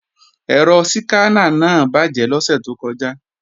Ẹ̀rọ síkáná náà bàjé lọ́sẹ̀ tó kọjá